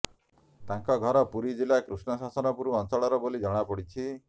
ତାଙ୍କ ଘର ପୁରୀ ଜିଲ୍ଲା କୃଷ୍ଣଶାସନପୁର ଅଞ୍ଚଳର ବୋଲି ଜଣାପଡିଛି